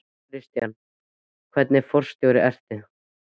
Kristján: Hvernig forstjóri ertu?